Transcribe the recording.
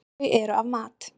Þau eru af mat.